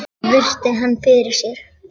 Emil virti hann fyrir sér.